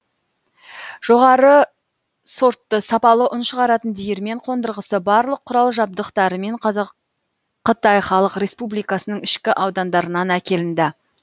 жоғары сортты сапалы ұн шығаратын диірмен қондырғысы барлық құрал жабдықтарымен қытай халық республикасының ішкі аудандарынан әкелінді